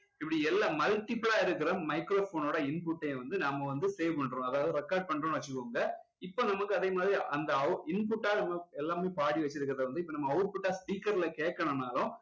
இப்படி எல்லாம் multiple லா இருக்கிற microphone ஒட input டே வந்து நாம வந்து play பண்றோம் அதாவது record பண்றோம்னு வச்சுக்கோங்க இப்போ நமக்கு அதே மாதிரி அந்த input ஆ நம்ம எல்லாமே பாடி வச்சிருக்கிறதை வந்து இப்போ நம்ம output டா speaker ல கேட்கணும்னாலும்